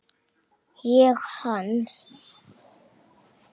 Ég hans.